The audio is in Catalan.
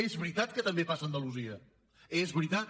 és veritat que també passa a andalusia és veritat